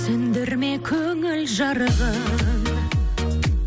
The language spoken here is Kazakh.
сөндірме көңіл жарығын